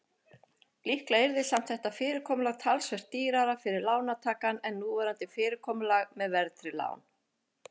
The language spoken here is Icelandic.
Líklega yrði samt þetta fyrirkomulag talsvert dýrara fyrir lántakann en núverandi fyrirkomulag með verðtryggð lán.